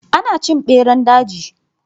Ana cin beran daji.